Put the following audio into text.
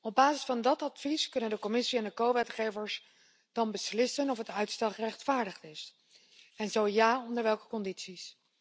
Op basis van dat advies kunnen de Commissie en de medewetgevers dan beslissen of uitstel gerechtvaardigd is en, zo ja, onder welke condities.